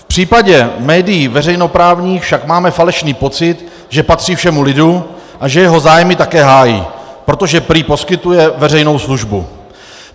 V případě médií veřejnoprávních však máme falešný pocit, že patří všemu lidu a že jeho zájmy také hájí, protože prý poskytuje veřejnou službu.